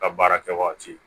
Ka baara kɛ waati